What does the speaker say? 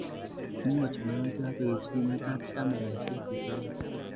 Kimwachi murenik choto koib simoit ak kameraisiek chechoget.